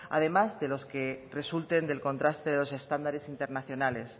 además de los que resulten del contraste de los estándares internacionales